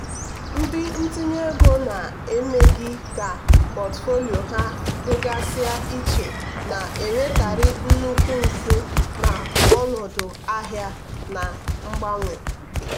ndị ntinye ego na-emeghị ka pọtụfoliyo ha dịgasịa iche na-enwekarị nnukwu mfu na ọnọdụ ahịa na-agbanwe.